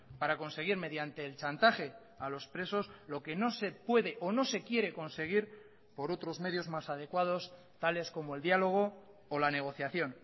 para conseguir mediante el chantaje a los presos lo que no se puede o no se quiere conseguir por otros medios más adecuados tales como el diálogo o la negociación